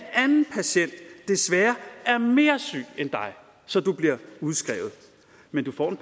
anden patient desværre er mere syg end dig så du bliver udskrevet men du får